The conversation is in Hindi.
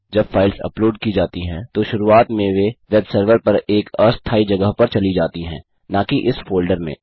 जब फाइल्स अपलोड की जाती हैं तो शुरुआत में वे वेब सर्वर पर एक अस्थायी जगह पर चली जाती हैं नाकि इस फोल्डर में